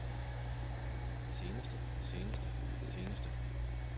seneste seneste seneste